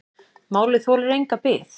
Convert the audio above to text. Málið þolir enga bið.